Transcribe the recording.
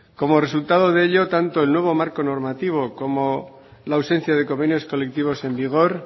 como resultado de ello tanto el nuevo marco normativo como la ausencia de convenios colectivos en vigor